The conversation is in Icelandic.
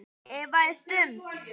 efaðist um